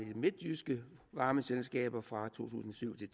midtjyske varmeselskaber fra to tusind og syv til